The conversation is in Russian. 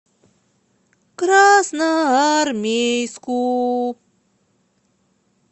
красноармейску